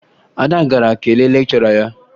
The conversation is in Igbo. Ada gara kelee lekchọra ya